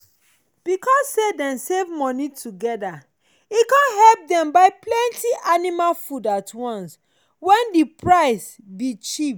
because say dem save moni together e come help dem buy plenty animal food at once when the price be cheap.